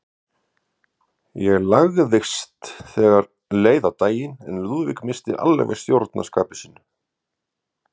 Ég lagaðist þegar leið á daginn, en Lúðvík missti alveg stjórn á skapi sínu.